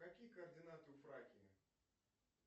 какие координаты у фракии